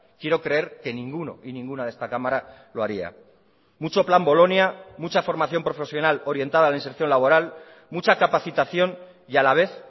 quiero creer que ninguno y ninguna de esta cámara lo haría mucho plan bolonia mucha formación profesional orientada a la inserción laboral mucha capacitación y a la vez